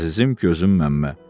Əzizim, gözüm Məmmə.